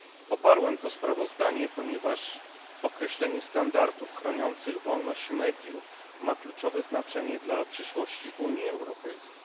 Poparłem to sprawozdanie, ponieważ określenie standardów chroniących wolność mediów ma kluczowe znaczenie dla przyszłości Unii Europejskiej.